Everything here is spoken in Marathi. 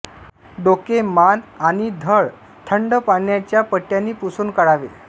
डोके मान आणि घड थंड पाण्याच्या पट्ट्यानी पुसून काढावे